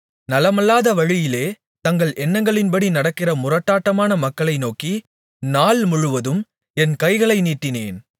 நலமல்லாத வழியிலே தங்கள் எண்ணங்களின்படி நடக்கிற முரட்டாட்டமான மக்களைநோக்கி நாள் முழுவதும் என் கைகளை நீட்டினேன்